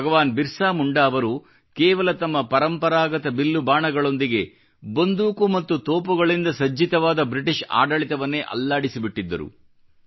ಭಗವಾನ್ ಬಿರ್ಸಾ ಮುಂಡಾ ಅವರು ಕೇವಲ ತಮ್ಮ ಪರಂಪರಾಗತ ಬಿಲ್ಲು ಬಾಣಗಳೊಂದಿಗೆ ಬಂದೂಕು ಮತ್ತು ತೋಪುಗಳಿಂದ ಸಜ್ಜಿತವಾದ ಬ್ರಿಟಿಷ್ ಆಡಳಿತವನ್ನೇ ಅಲ್ಲಾಡಿಸಿಬಿಟ್ಟಿದ್ದರು